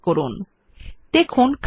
highlight ALL বিকল্পটি click করুন